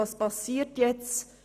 Was passiert jetzt?